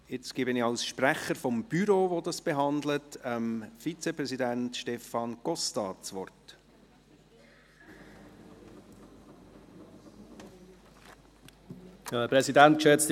Jetzt gebe ich das Wort dem Vizepräsidenten Stefan Costa als Sprecher des Büros, das dieses Geschäft behandelt hat.